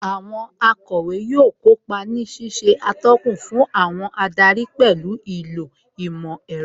Àwọn akọ̀wé yóò kópa ní ṣíṣe atọ́kùn fún àwọn adarí pẹ̀lú ìlò ìmọ̀ ẹ̀rọ